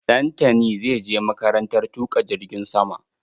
Dantani zai je makarantar tuƙa jirgin sama.